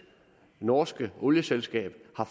norske olieselskab